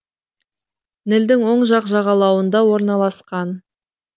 нілдің оң жақ жағалауында орналасқан